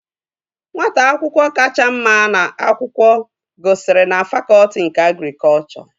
Nwata akwụkwọ kacha mma n'akwụkwọ gụsiri na fakọtị nke agrikọchọ